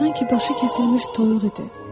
Sanki başı kəsilmiş toyuq idi.